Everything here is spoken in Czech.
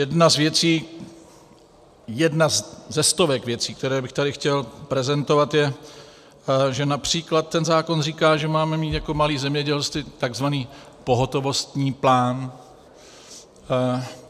Jedna z věcí, jedna ze stovek věcí, které bych tady chtěl prezentovat, je, že například ten zákon říká, že máme mít jako malé zemědělství takzvaný pohotovostní plán.